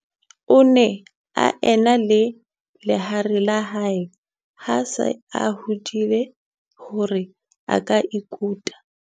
O ne a e na le lehare la hae ha a se a hodile hore a ka ikuta.